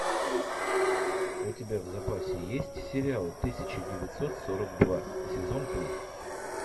у тебя в запасе есть сериал тысяча девятьсот сорок два сезон три